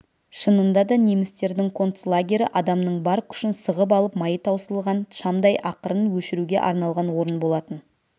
шынында да немістердің концлагері адамның бар күшін сығып алып майы таусылған шамдай ақырын өшіруге арналған орын болатын